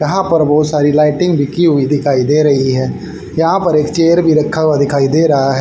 यहां पर बहुत सारी लाइटिंग भी की हुई दिखाई दे रही है यहां पर एक चेयर भी रखा हुआ दिखाई दे रहा है।